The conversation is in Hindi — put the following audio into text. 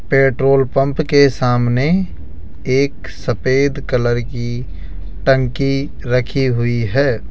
पेट्रोल पंप के सामने एक सफेद कलर की टंकी रखी हुई है।